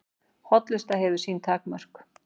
Hollusta hefur sín takmörk